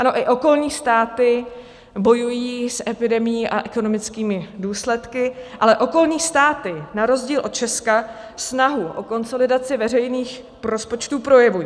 Ano i okolní státy bojují s epidemií a ekonomickými důsledky, ale okolní státy na rozdíl od Česka snahu o konsolidaci veřejných rozpočtů projevují.